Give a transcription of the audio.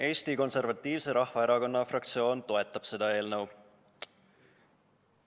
Eesti Konservatiivse Rahvaerakonna fraktsioon toetab seda eelnõu.